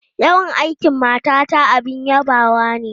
Yawan aikin matata abin yabawa ne.